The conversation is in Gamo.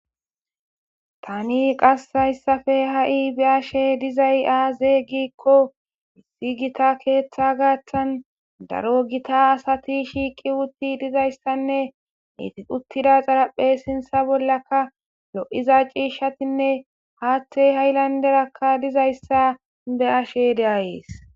tani qasshayssafe ha7i be ashe dizay aaze giikqo issi gita keeththa gaathtan daro gita asati shiiqi wutti dizayssanne itiquttida xaraphe sintsa bollaka lo7iza ciishshatinne haatte ha7ilanderakka dizayssa be ashe deayees